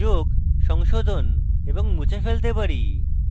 যোগ সংশোধন এবং মুছে ফেলতে পারি